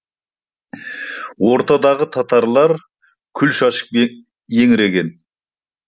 ортадағы татарлар күл шашып еңіреген